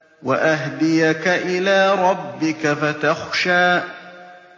وَأَهْدِيَكَ إِلَىٰ رَبِّكَ فَتَخْشَىٰ